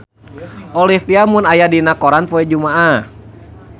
Olivia Munn aya dina koran poe Jumaah